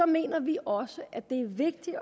mener vi også at det er vigtigt